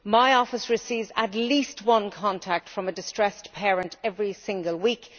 My office receives at least one contact from a distressed parent every single week.